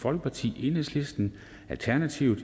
folkeparti enhedslisten alternativet